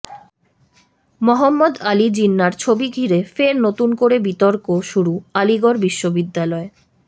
মহম্মদ আলি জিন্নার ছবি ঘিরে ফের নতুন করে বিতর্ক শুরু আলিগড় বিশ্ববিদ্যালয়ে